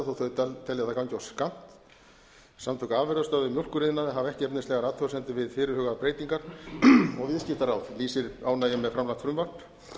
það gangi of skammt samtök afurðastöðva í mjólkuriðnaði hafa ekki efnislegar athugasemdir við fyrirhugaðar breytingar og viðskiptaráð lýsir ánægju með framlagt frumvarp